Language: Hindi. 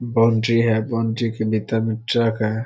बाउन्ड्री है बाउन्ड्री के भीतर मे ट्रक है।